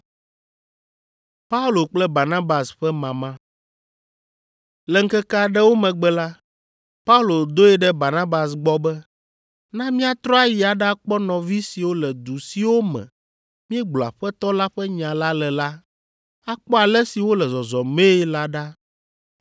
Le ŋkeke aɖewo megbe la, Paulo doe ɖe Barnabas gbɔ be, “Na míatrɔ ayi aɖakpɔ nɔvi siwo le du siwo me míegblɔ Aƒetɔ la ƒe nya la le la, akpɔ ale si wole zɔzɔmee la ɖa.”